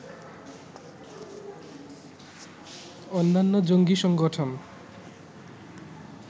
অন্যান্য জঙ্গী সংগঠন